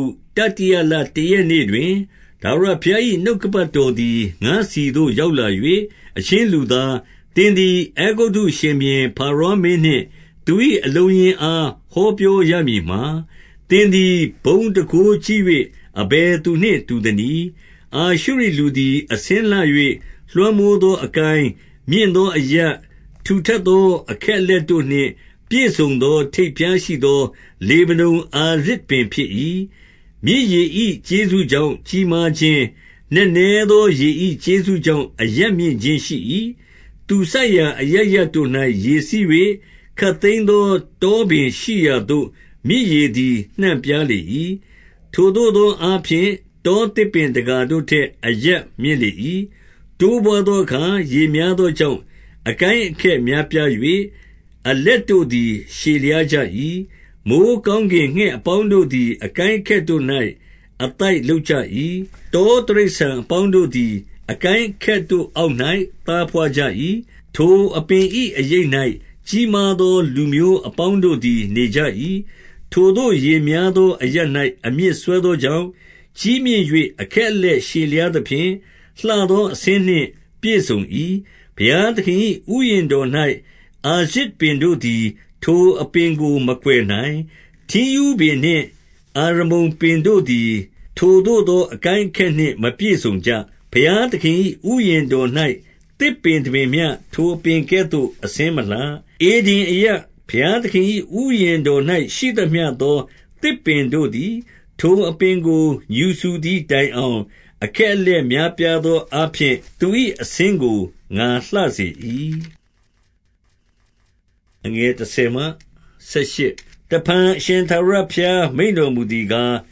ု၊ တတိယလတရက်နေ့ တွင်၊ ထာဝရဘုရား၏ နှုတ်ကပတ်တော်သည် ငါ့ဆီသို့ရောက်လာ၍၊ 2 အချင်းလူသား၊ သင်သည် အဲဂုတ္တုရှင်ဘုရင် ဖာရောမင်းနှင့် သူ၏အလုံးအရင်းအား ဟောပြောရမည် မှာ၊ သင်သည် ဘုန်းတန်ခိုးကြီး၍ အဘယ်သူနှင့် တူသနည်း။ 3 အာရှုရိလူသည် အဆင်းလှ၍ လွှမ်းမိုးသော အကိုင်း၊ မြင့်သောအရပ်၊ ထူထပ်သောအခက်အလက် တို့နှင့် ပြည့်စုံသော ထိပ်ဖျားရှိသော လေဗနန်အာရဇ်ပင်ဖြစ်၏။ 4 မြစ်ရေ၏ကျေးဇူးကြောင့် ကြီးမားခြင်း၊ နက်နဲ သောရေ၏ကျေးဇူးတရားကြောင့် အရပ်မြင့်ခြင်းရှိ၏။ သူစိုက်ရာ အရပ်ရပ်တို့၌ ရေစီး၍၊ ခပ်သိမ်းသော တော ပင်ရှိရာသို့ မြစ်ရေသည် နှံ့ပြားလေ၏။ 5 ထိုသို့သောအားဖြင့် တောသစ်ပင်တကာတို့ ထက် အရပ်မြင့်လေ၏။ တိုးပွားသောအခါ ရေများသော ကြောင့် အကိုင်းအခက်များပြား၍၊ အလက်တို့သည် ရှည်လျားကြ၏။ 6 မိုဃ်းကောင်းကင်ငှက်အပေါင်းတို့သည် အကိုင်း အခက်တို့၌ အသိုက်လုပ်ကြ၏။ တောတိရစ္ဆာန်အပေါင်း တို့သည် အကိုင်းအခက်တို့ အောက်၌သာ ဘွားကြ၏။ ထိုအပင်၏ အရပ်၌ကြီးမားသော လူမျိုးအပေါင်းတို့ သည် နေကြ၏။ 7 ထိုသို့ ရေများသောအရပ်၌ အမြစ်စွဲသော ကြောင့်၊ ကြီးမြင့်၍ အခက်အလက်ရှည်လျားသဖြင့် လှသောအဆင်းနှင့် ပြည့်စုံ၏။ 8 ဘုရားသခင်၏ ဥယျာဉ်တော်၌ အာရဇ်ပင်တို့ သည် ထိုအပင်ကို မကွယ်နိုင်။ ထင်းရူးပင်နှင့် အာရမုန် ပင်တို့သည် ထိုသို့သော အကိုင်းအခက်နှင့်မပြည့်စုံကြ။ ဘုရားသခင်၏ ဥယျာဉ်တော်၌ သစ်ပင်တပင်မျှ ထိုအပင် ကဲ့သို့ အဆင်းမလှ။ 9 ဧဒင်အရပ်၊ ဘုရားသခင်၏ဥယျာဉ် တော်၌ ရှိသမျှသော သစ်ပင်တို့သည် ထိုအပင်ကို ငြူစူ သည်တိုင်အောင် အခက်အလက်များပြားသောအားဖြင့် သူ၏အဆင်းကို ငါလှစေ၏။ 10 တဖန်အရှင်ထာဝရဘုရား မိန့်တော်မူသည် ကား၊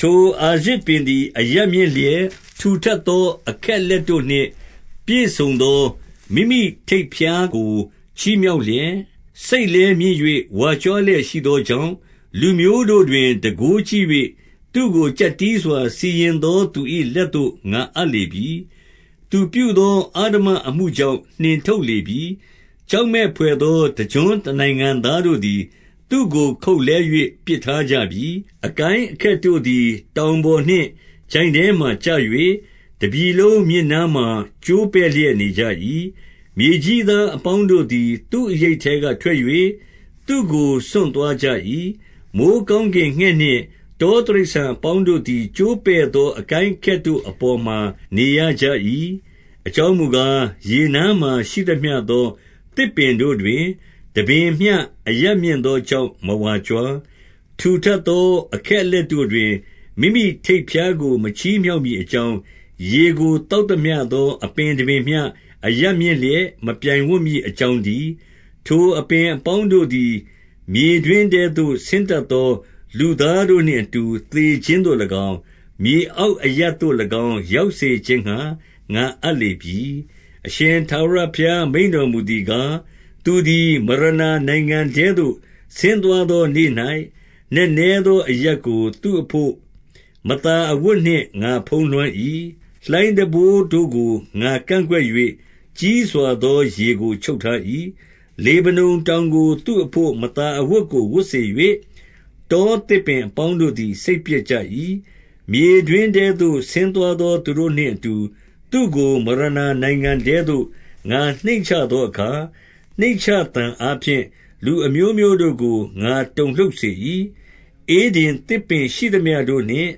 ထိုအာရဇ်ပင်သည် အရပ်မြင့်လျက်၊ ထူထပ်သော အခက်အလက်တို့နှင့် ပြည့်စုံသော မိမိထိပ်ဖျားကို ချီမြှောက်လျက်၊ စိတ်လည်းမြင့်၍ ဝါကြွားလျက်ရှိသော ကြောင့်၊ 11 လူမျိုးတို့တွင် တန်ခိုးကြီး၍ သူ့ကိုကျပ်တည်းစွာ စီရင်သော သူ၏လက်သို့ ငါအပ်လေပြီ။ သူပြုသော အဓမ္မအမှုကြောင့် နှင်ထုတ်လေပြီ။ 12 ကြောက်မက်ဘွယ်သော တကျွန်းတနိုင်ငံသား တို့သည် သူ့ကို ခုတ်လှဲ၍ ပစ်ထားကြပြီ။ အကိုင်းအခက် တို့သည် တောင်ပေါ်နှင့် ချိုင့်ထဲမှာကျ၍ တပြည်လုံး မြစ်နားမှာ ကျိုးပဲ့လျက်နေကြ၏။ မြေကြီးသာအပေါင်း တို့သည် သူ့အရိပ်ထဲကထွက်၍ သူ့ကိုစွန့်သွားကြ၏။ 13 မိုဃ်းကောင်းကင်ငှက်နှင့် တောတိရစ္ဆာန် အပေါင်းတို့သည် ကျိုးပဲ့သော အကိုင်းအခက်တို့ အပေါ် မှာ နေရကြ၏။ 14 အကြောင်းမူကား၊ ရေနားမှာရှိသမျှသော သစ် ပင်တို့တွင် တပင်မျှအရပ်မြင့်သောကြောင့် မဝါကြွား။ ထူထပ်သော အခက်အလက်တို့တွင် မိမိထိပ်ဖျားကို မချီမြှောက်မည်အကြောင်း၊ ရေကိုသောက်သမျှသော အပင်တပင်မျှအရပ်မြင့်လျက် မပြိုင်ဝံ့မည်အကြောင်း တည်း။ ထိုအပင်အပေါင်းတို့သည် မြေတွင်းထဲသို့ ဆင်း တတ်သောလူသားတို့နှင့်အတူ သေခြင်းသို့၎င်း၊ မြေ အောက်အရပ်သို့၎င်း ရောက်စေခြင်းငှါ ငါအပ်လေပြီ။ 15 အရှင်ထာဝရဘုရား မိန့်တော်မူသည်ကား၊ သူသည် မရဏာနိုင်ငံထဲသို့ ဆင်းသွားသောနေ့၌ နက်နဲ သောအရပ်ကို သူ့အဘို့မသာ အဝတ်နှင့် ငါဖုံးလွှမ်း၏။ လှိုင်းတံပိုးတို့ကို ငါကန့်ကွက်၍ ကြီးစွားသော ရေကို ချုပ်ထား၏။ လေဗနန်တောင်ကို သူ့အဘို့ မသာအဝတ် ကို ဝတ်စေ၍၊ တောသစ်ပင်အပေါင်းတို့သည် စိတ်ပျက် ကြ၏။ 16 မြေတွင်းထဲသို့ ဆင်းသွားသောသူတို့နှင့်အတူ သူ့ကို မရဏနိုင်ငံထဲသို့ ငါနှိမ့်ချသောအခါ၊ နှိမ့်ချသံ အားဖြင့် လူအမျိုးမျိုးတို့ကို ငါတုန်လှုပ်စေ၏။ ဧဒင် သစ်ပင်ရှိသမျှတို့နှင့်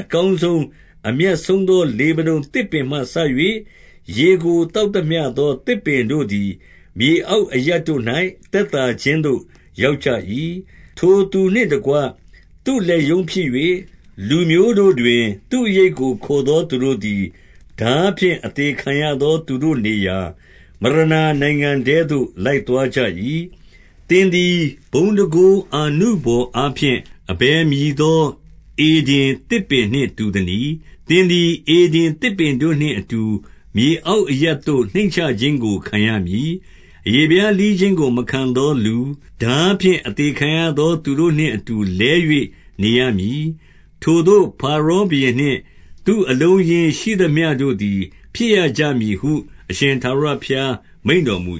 အကောင်းဆုံး။ အမြတ်ဆုံးသော လေဗနန်သစ်ပင်မှစ၍၊ ရေကိုသောက်သမျှသော သစ်ပင်တို့သည် မြေအောက်အရပ်တို့၌ သက်သာခြင်းသို့ ရောက်ကြ၏။ 17 ထိုသူနှင့်တကွ သူ့လက်ရုံဖြစ်၍၊ လူမျိုးတို့တွင် သူ့အရိပ်ကို ခိုသောသူတို့သည် ထားဖြင့် အသေခံရသော သူတို့ နေရာ၊ မရဏာနိုင်ငံထဲသို့ လိုက်သွားကြ၏။ 18 သင်သည် ဘုန်းတန်ခိုးအာနုဘော်အားဖြင့် အဘယ်မည်သော ဧဒင်သစ်ပင်နှင့် တူသနည်း။ သင် သည် ဧဒင်သစ်ပင်တို့နှင့်အတူ မြေအောက်အရပ်သို့ နှိမ့်ချခြင်းကိုခံရမည်။ အရေးဖျားလှီးခြင်းကို မခံသောလူ၊ ထားဖြင့်အသေခံရသောသူတို့နှင့်အတူ လဲ၍နေရမည်။ ထိုသို့ဖာရောဘုရင်နှင့် သူ့အလုံးအရင်းရှိသမျှတို့သည် ဖြစ်ရကြမည်ဟု အရှင်ထာဝရဘုရား မိန့်တော်မူ